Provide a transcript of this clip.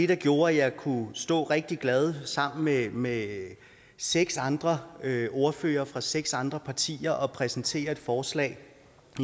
der gjorde at jeg kunne stå rigtig glad sammen med med seks andre ordførere fra seks andre partier og præsentere et forslag